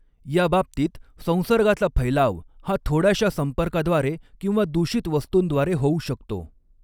या बाबतीत, संसर्गाचा फैलाव हा थोड्याशा संपर्काद्वारे किंवा दूषित वस्तूंद्वारे होऊ शकतो.